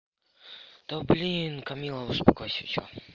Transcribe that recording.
да блин камила успокойся всё